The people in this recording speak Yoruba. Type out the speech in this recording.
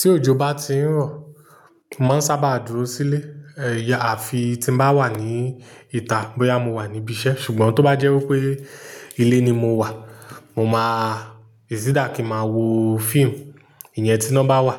Tí òjò bá ti ń rọ̀, mo máa ń sábà dúró sílé, ẹyà àfi tí ń bá wà ní ìta, bóyá mo wà ní ibi iṣẹ́. Ṣùgbọ́n tó bá jẹ́ wípé ilé ni mo wà, mo máa, èsì dà kí máa wo fíìmù, ìyẹn tí iná bá wà,